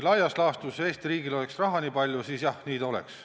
Laias laastus, kui Eesti riigil oleks nii palju raha, siis jah, nii ta oleks.